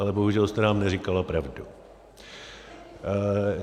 Ale bohužel jste nám neříkala pravdu.